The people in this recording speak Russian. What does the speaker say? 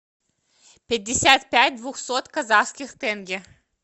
пятьдесят пять двухсот казахских тенге